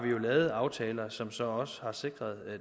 lavet aftaler som så også har sikret